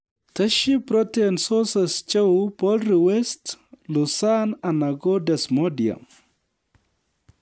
Tesyi protein sources cheu poultry waste, Lucerne anan ko Desmodium